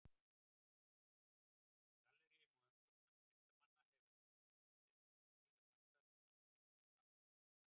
Galleríum og umboðsmönnum listamanna hefur ekki tekist að stýra markaðnum eins og tíðkast annars staðar.